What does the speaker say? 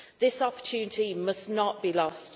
This opportunity must not be lost.